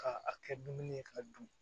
Ka a kɛ dumuni ye k'a dun